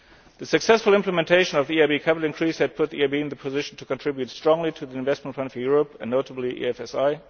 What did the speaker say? hope so. The successful implementation of the EIB capital increase has put the EIB in the position to contribute strongly to the Investment Plan for Europe, and notably